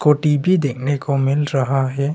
T भी देखने को मिल रहा है।